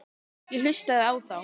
Ég hlustaði á þá.